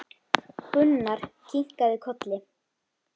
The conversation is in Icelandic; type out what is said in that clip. Gunnar kinkaði kolli.